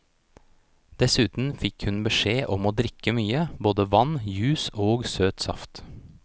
Dessuten fikk hun beskjed om å drikke mye, både vann, juice og søt saft.